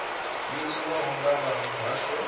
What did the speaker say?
yo tiwaho nga vha muhasho